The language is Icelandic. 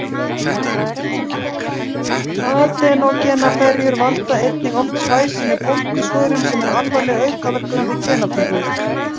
Adenógenaferjur valda einnig oft svæsinni bólgusvörun sem er alvarleg aukaverkun við genaflutning.